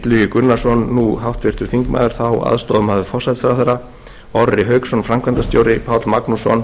hdl og rekstrarhagfræðingur illugi gunnarsson aðstoðarmaður forsætisráðherra orri hauksson framkvæmdastjóri páll magnússon